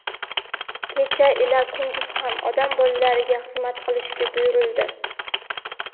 kecha ila kunduz ham Odam bolalariga xizmat qilishga buyurildi.